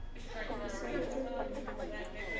ho isa ho tse nne